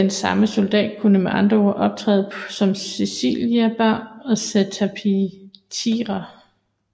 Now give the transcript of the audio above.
Den samme soldat kunne med andre ord optræde på som Clibanarii og cataphractii